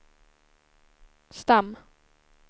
stam